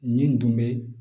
Nin dun bɛ